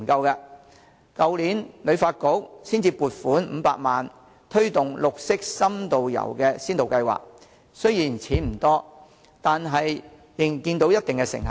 香港旅遊發展局去年才獲撥款500萬元推動綠色深度遊先導計劃，雖然錢不多，但仍看到一定成效。